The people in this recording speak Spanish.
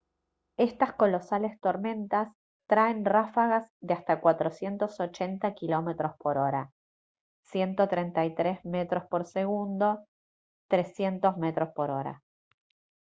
estas colosales tormentas traen ráfagas de hasta 480 km/h 133m/s; 300 mph